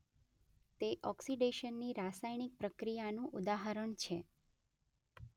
તે ઓક્સીડેશનની રસાયણિક પ્રક્રિયાનું ઉદાહરણ છે.